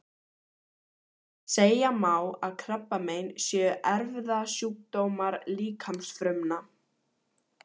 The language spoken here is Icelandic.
Segja má að krabbamein séu erfðasjúkdómar líkamsfrumna.